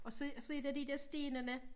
Og så og så er der de dér stenene